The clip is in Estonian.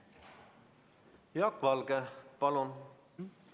Jaak Valge, palun!